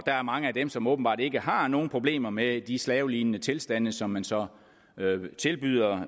er mange af dem som åbenbart ikke har nogen problemer med de slavelignende tilstande som man så tilbyder